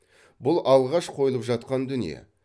бұл алғаш қойылып жатқан дүние